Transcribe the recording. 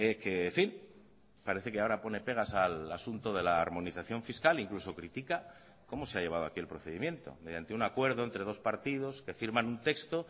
que en fin parece que ahora pone pegas al asunto de la armonización fiscal incluso critica cómo se ha llevado aquí el procedimiento mediante un acuerdo entre dos partidos que firman un texto